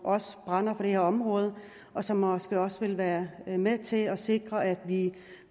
brænder for det her område og som måske også vil være med til at sikre at vi